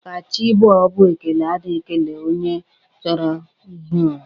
Ka chi bọọ bụ ekele a na-ekele onye choro i hi ura.